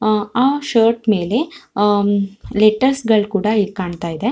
ಅಹ್ ಆ ಶರ್ಟ್ ಮೇಲೆ ಅಹ್ ಲೇಟಸ್ ಗಳು ಕೂಡ ಇಲ್ಲಿ ಕಾಣತ್ತಿದೆ.